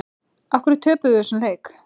Af hverju töpum við þessum leik?